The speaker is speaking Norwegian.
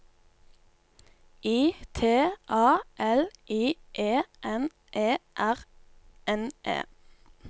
I T A L I E N E R N E